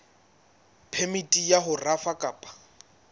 phemiti ya ho rafa kapa